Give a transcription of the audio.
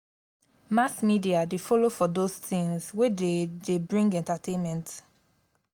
mass media still follow for those things wey dey dey bring entertainment